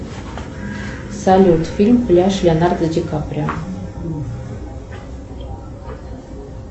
салют фильм пляж леонардо ди каприо